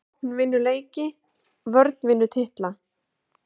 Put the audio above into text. Sókn vinnur leiki vörn vinnur titla???